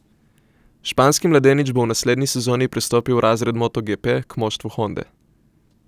Španski mladenič bo v naslednji sezoni prestopil v razred motoGP k moštvu Honde.